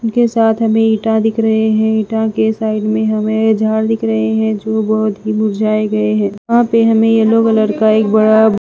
उनके साथ हमें ईंटा दिख रहे हैं ईंटा के साइड में हमें झाड़ दिख रहे हैं जो बहुत ही मुरझाए गए हैं वहाँ पे हमें येलो कलर का एक बड़ा --